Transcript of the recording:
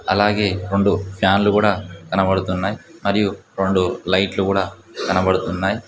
అలాగే రొండు ఫ్యాన్లు కూడా కనబడుతున్నాయి మరియు రొండు లైట్లు కూడా కనబడుతున్నాయి.